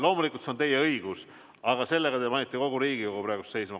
Loomulikult see on teie õigus, aga sellega te panite kogu Riigikogu töö praegu seisma.